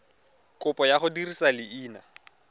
kopo ya go dirisa leina